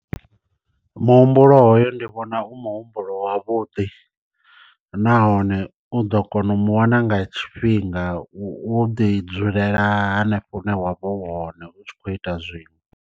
Muhumbulo hoyo ndi vhona u muhumbulo wavhuḓi, nahone u ḓo kona u mu wana nga tshifhinga wo ḓi dzulela hanefho hune wa vha u hone u tshi khou ita zwiṅwe.